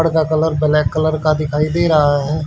घड़ का colour black colour का दिखाई दे रहा है।